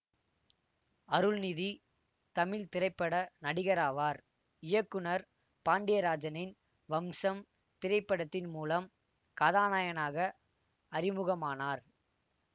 அருள்நிதி தமிழ் திரைப்பட நடிகராவார் இயக்குநர் பாண்டியராஜனின் வம்சம் திரைப்படத்தின் மூலம் கதாநாயகனாக அறிமுகமானார்